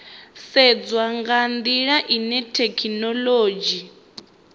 sedzwa nga ndila ine thekhinolodzhi